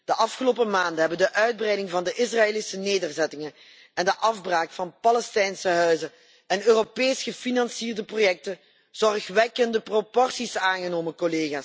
De afgelopen maanden hebben de uitbreiding van de Israëlische nederzettingen en de afbraak van Palestijnse huizen en Europees gefinancierde projecten zorgwekkende proporties aangenomen.